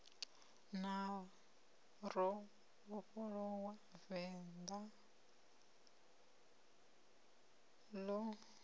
na ro vhofholowa vendḓa ḽo